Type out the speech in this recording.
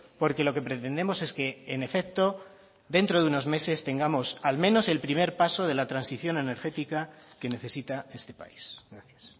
porque lo que pretendemos es que en efecto dentro de unos meses tengamos al menos el primer paso de la transición energética que necesita este país gracias